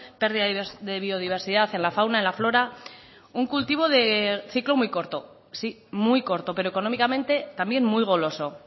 pérdida de biodiversidad en la fauna en la flora un cultivo de ciclo muy corto sí muy corto pero económicamente también muy goloso